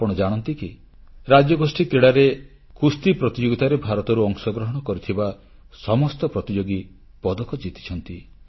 ଆପଣ ଜାଣନ୍ତି କି ରାଜ୍ୟଗୋଷ୍ଠୀ କ୍ରୀଡ଼ାରେ କୁସ୍ତି ପ୍ରତିଯୋଗିତାରେ ଭାରତରୁ ଅଂଶଗ୍ରହଣ କରିଥିବା ସମସ୍ତ ପ୍ରତିଯୋଗୀ ପଦକ ଜିତିଛନ୍ତି